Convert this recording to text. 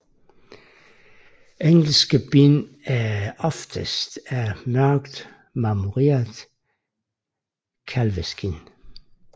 Engelske bind er oftest af mørkt marmoreret kalveskind